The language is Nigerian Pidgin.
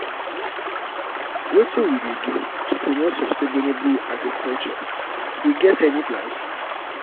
wetin we dey do to promote sustainable agriculture we um get any um plans?